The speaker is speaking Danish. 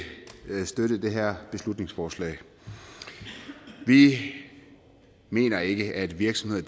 kan støtte de her beslutningsforslag vi mener ikke at virksomheder